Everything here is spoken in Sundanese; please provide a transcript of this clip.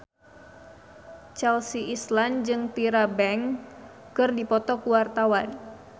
Chelsea Islan jeung Tyra Banks keur dipoto ku wartawan